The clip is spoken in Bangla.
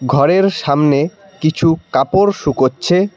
ঘরের সামনে কিছু কাপড় শুকোচ্ছে।